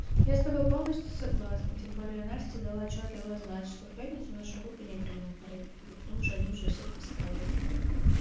я с тобой полностью согласна тем более настя дала отчётливо знать что в пятницу нашу группу не примут на репетицию потому что они уже всё поставили